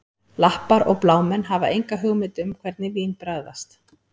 Lappar og blámenn hafa enga hugmynd um hvernig vín bragðast